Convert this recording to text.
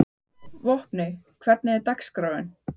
Vopni, hvernig er dagskráin?